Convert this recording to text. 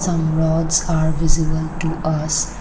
some rods are visible to us.